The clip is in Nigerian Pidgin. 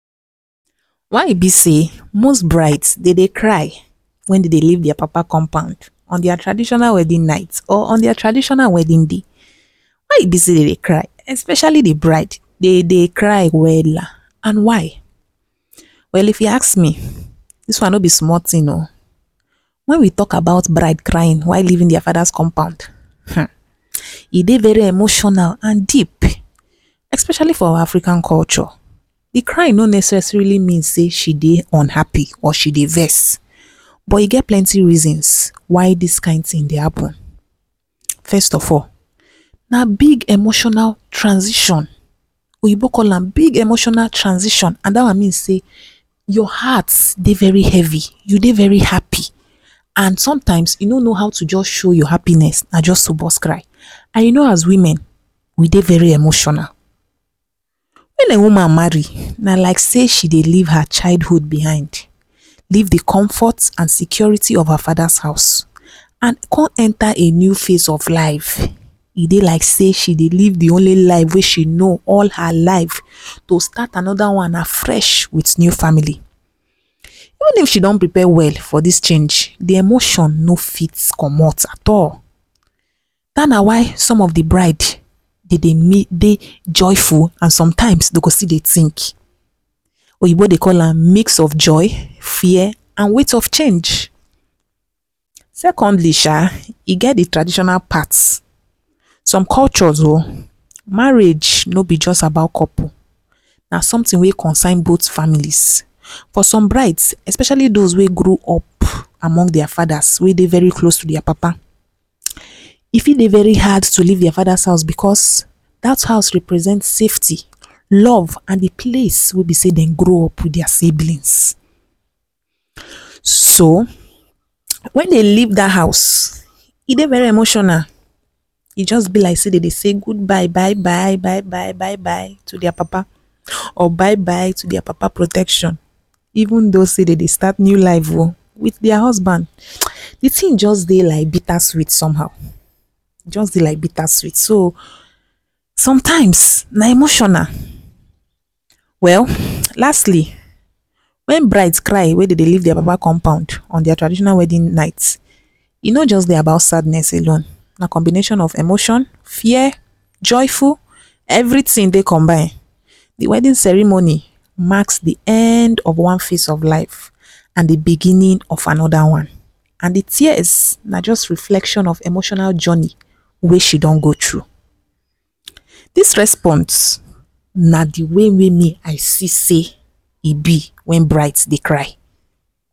Whey e be sey most brides dey dey cry when dey dey leave their papa house on their traditional marriage night or on their traditional wedding day? why e be sey dey dey cry especially de bride dey dey cry wella and why well if you ask me, dis one no be small thing o when we talk about bride crying while leaving their fader’s compound e dey very emotional and deep especially for our African culture de cry no necessarily mean she dey unhappy or she dey vex but e get plenty reason why dis kind thing dey happen. first of all na big emotional transition oyimbo call am big emotional transition and dat mean sey your heart dey very heavy you dey very happy and sometimes you no no how to show your happiness na just to burst cry and you no as women we dey very emotional. when a woman marry na like sey she dey leave her child hood behind, leave de comfort and security of her faders house and come enter a new phase of live, e be like sey she dey leave dey only life whey she no all her life to start another one afresh with new family. Even if she don prepare well for dis change de emotion no fit comot at all dat na why some of de brides dem dey dey joyful and sometimes dem go still dey think oyimbo dey call am mix of joy, fear and weight of change, secondly sha e get de traditional part some cultures o marriage no be just about couples na some thing whey concern both families for some brides especially does whey grow up among their faders whey dey very close to their papa e fit dey very hard to leave their fader’s house because dat house represent safety, love and de place whey don grow up with their siblings. So, when dem leave dat house e dey very emotional e just be like sey dem dey sey good bye byebye byebye to their papa or bye bye to their papa protection even though sey dem dey start new life o with their husband de thing just be like bitter sweet some how just de dey like bitter sweet so, sometimes na emotional well lastly, when bride cry when dem dey leave their papa compound on de day of their traditional wedding night e no be about sadness alone na combination of emotion fear, joyful, every thing dey combine dey wedding ceremony marks de end of one face of life and de beginning of another one and de tears na just reflection of emotional journey whey she don go through dis response na de way whey me I see sey e be when bride dey cry.